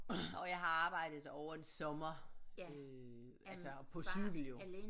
Og jeg har arbejdet derovre en sommer øh altså på cykel jo